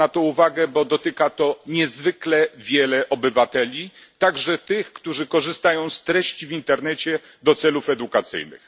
Zwracam na to uwagę, bo dotyka to niezwykle wielu obywateli, także tych, którzy korzystają z treści w internecie do celów edukacyjnych.